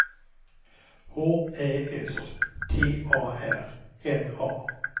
H Ä S T A R N A